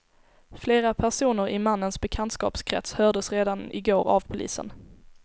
Flera personer i mannens bekantskapskrets hördes redan i går av polisen.